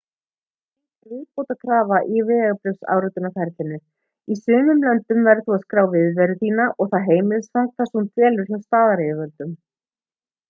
skráning er viðbótarkrafa í vegabréfsáritunarferlinu í sumum löndum verður þú að skrá viðveru þína og það heimilisfang þar sem þú dvelur hjá staðaryfirvöldum